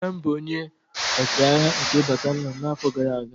nna m bụ onye ọchịagha nke batalion a n'afọ gara aga